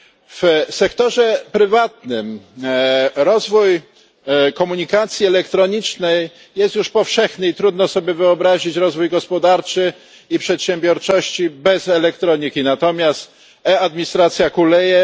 W sektorze prywatnym komunikacja elektroniczna jest już powszechna i trudno sobie wyobrazić rozwój gospodarki i przedsiębiorczości bez elektroniki, natomiast e administracja kuleje.